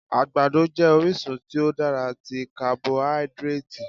Àgbàdo jẹ́ orísun tí ó dára tí carboidratì.